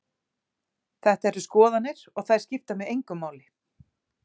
Þetta eru skoðanir og þær skipta mig engu máli.